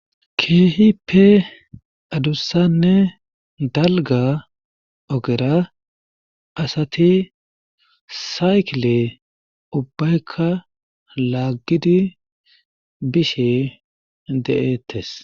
Keehippe addussanne dalgga oggera asati saykile ubaykka lagidi bishe de'eetees.